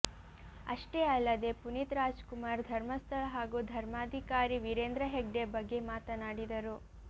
ಅಷ್ಟೇ ಅಲ್ಲದೇ ಪುನೀತ್ ರಾಜ್ಕುಮಾರ್ ಧರ್ಮಸ್ಥಳ ಹಾಗೂ ಧರ್ಮಧಿಕಾರಿ ವೀರೇಂದ್ರ ಹೆಗ್ಡೆ ಬಗ್ಗೆ ಮಾತನಾಡಿದರು